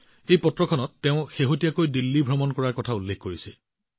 এই পত্ৰখনত তেওঁ শেহতীয়াকৈ দিল্লী ভ্ৰমণৰ বিষয়ে উল্লেখ কৰিছে